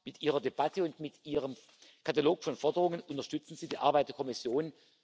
Mit Ihrer Debatte und mit Ihrem Katalog von Forderungen unterstützen Sie die Arbeit der Kommission.